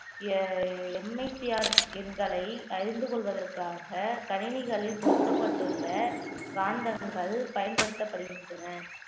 எண்களை அறிந்து கொள்வதற்காக கணினிகளில் பொருத்தப்பட்டுள்ள காந்தகங்கள் பயன்படுத்தப்படுகின்றன